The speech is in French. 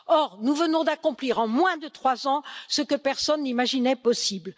Or, nous venons d'accomplir en moins de trois ans ce que personne n'imaginait possible.